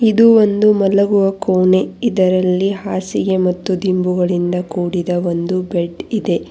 ಇದು ಒಂದು ಮಲಗುವ ಕೋಣೆ ಇದರಲ್ಲಿ ಹಾಸಿಗೆ ಮತ್ತು ದಿಂಬುಗಳಿಂದ ಕೂಡಿದ ಒಂದು ಬೆಡ್ ಇದೆ.